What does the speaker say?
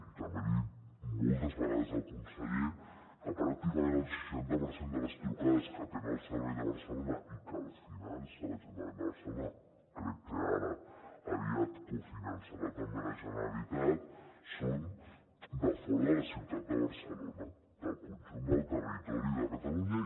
i també li he dit moltes vegades al conseller que pràcticament el seixanta per cent de les trucades que atén el servei de barcelona i que el finança l’ajuntament de barcelona crec que ara aviat cofinançarà també la generalitat són de fora de la ciutat de barcelona del conjunt del territori de catalunya